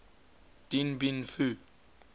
dien bien phu